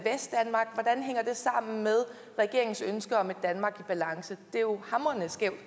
sammen med regeringens ønske om et danmark i balance det er jo